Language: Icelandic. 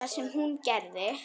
Það sem hún gerði: